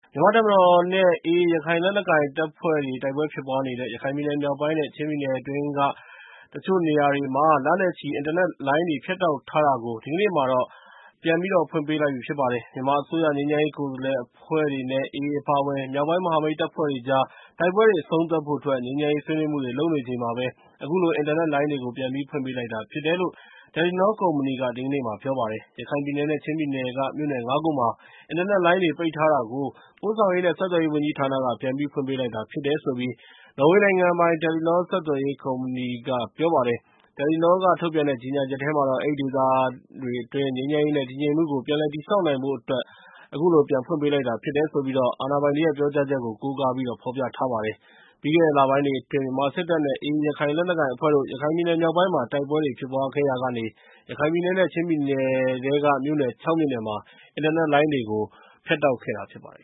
မြန်မာ့တပ်မတော်နဲ့ AA ရခိုင်လက်နက်ကိုင်အဖွဲ့တို့ တိုက်ပွဲတေဖြစ်နေတဲ့ ရခိုင်ပြည်နယ်မြောက်ပိုင်းနဲ့ ချင်းပြည်နယ်အတွင်း တချို့မြို့နယ်တွေမှာ လနဲ့ချီ အင်တာနက်လိုင်းတွေ ဖြတ်တောက်ထားတာကို တစိတ်တဒေသ ပြန်ပြီးတော့ ဖွင့်ပေးလိုက်ပြီ ဖြစ်ပါတယ်။ မြန်မာအစိုးရ ငြိမ်းချမ်းရေးကိုယ်စားလှယ်အဖွဲ့တွေနဲ့ AA အပါအဝင် မြောက်ပိုင်း မဟာမိတ်တပ်ဖွဲ့တွေကြား တိုက်ပွဲတေ အဆုံးသတ်ဖို့အတွက် ငြိမ်းချမ်းရေးဆွေးနွေးမှုတွေ လုပ်နေချိန်မှာပဲ အခုလို အင်တာနက်လိုင်းတွေကို ပြန်ဖွင့်ပေးလိုက်တာ ဖြစ်တယ်လို့ တယ်လီနော ကုမ္ပဏီက ဒီကနေ့မှာ ပြောပါတယ်။ ရခိုင်ပြည်နယ်နဲ့ ချင်းပြည်နယ်က မြို့နယ် ၅ ခုမှာ အင်တာနက်လိုင်းတွေ ပိတ်ထားတာကို ပို့ဆောင်ရေးနဲ့ ဆက်သွယ်ရေးဝန်ကြီးဌာနက ပြန်ဖွင့်ပေးလိုက်တာ ဖြစ်တယ်လို့ နော်ဝေနိုင်ငံပိုင် တယ်လီနော ဆက်သွယ်ရေးကုမ္ပဏီက ပြောပါတယ်။ တယ်လီနောက ထုတ်ပြန်တဲ့ ကြေညာချက်ထဲမှာတော့ အဲဒီဒေသတွေအတွင်း ငြိမ်းချမ်းရေးနဲ့ တည်ငြိမ်မှုကို ပြန်လည်တည်ဆောက်နိုင်ဖို့အတွက် ဖြစ်တယ်လို့ အာဏာပိုင်တွေရဲ့ ပြောကြားချက်ကို ကိုးကား ဖော်ပြထားပါတယ်။ ပြီးခဲ့တဲ့လပိုင်းတွေအတွင်း မြန်မာစစ်တပ်နဲ့ AA ရခိုင်လက်နက်ကိုင်အဖွဲ့တို့ ရခိုင်ပြည်နယ်မြောက်ပိုင်းမှာ တိုက်ပွဲတွေ ဖြစ်ပွားခဲ့ရာကနေ ရခိုင်ပြည်နယ်နဲ့ ချင်းပြည်နယ်ထဲက မြို့နယ် ၆ မြို့နယ်မှာ အင်တာနက်လိုင်းတွေကို ဖြတ်တောက်ခဲ့တာ ဖြစ်ပါတယ်